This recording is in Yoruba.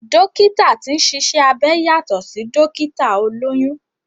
Dókítà tí ń ṣiṣẹ́ abẹ yàtọ̀ sí Dókítà olóyún